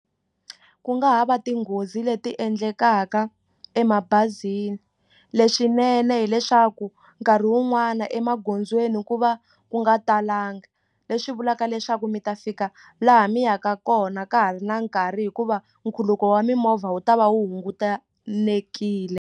Ku nga ha va tinghozi leti endlekaka emabazini leswinene hileswaku nkarhi wun'wani emagondzweni ku va ku nga talanga leswi vulaka leswaku mi ta fika laha mi yaka kona ka ha ri na nkarhi hikuva nkhuluko wa mimovha wu ta va wu hungutanekile.